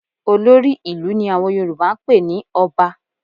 Olórí ìlú ni àwọn Yorùbá ń pè ní Ọba